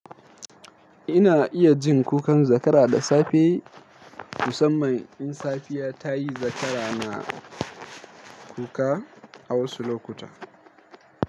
Ina iya jin kukan zakara da safe, musamman in safiya ta yi zakara na kuka a wasu lokuta.